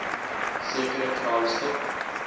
sekere crime stop